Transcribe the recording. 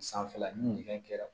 Sanfɛla ni fɛn kɛra